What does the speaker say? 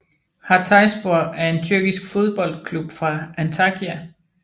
Hatayspor er en tyrkisk fodboldklub fra Antakya